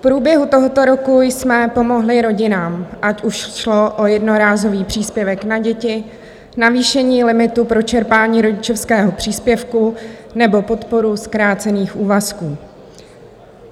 V průběhu tohoto roku jsme pomohli rodinám, ať už šlo o jednorázový příspěvek na děti, navýšení limitu pro čerpání rodičovského příspěvku nebo podporu zkrácených úvazků.